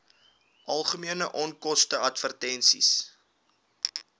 algemene onkoste advertensies